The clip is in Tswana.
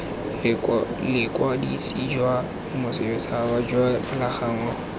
bokwadisi jwa bosetšhaba jwa dipalangwa